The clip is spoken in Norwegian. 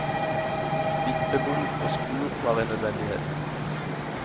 Vippebom og skur var en nødvendighet.